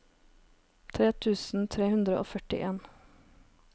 tre tusen tre hundre og førtien